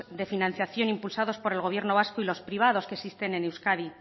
de financiación impulsados por el gobierno vasco y las privados que existen en euskadi